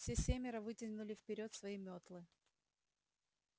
все семеро вытянули вперёд свои метлы